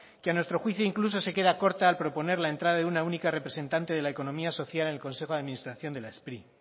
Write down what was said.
que a nuestro juicio incluso se queda corta al proponer la entrada de una única representante de la economía social en el consejo de administración de la spri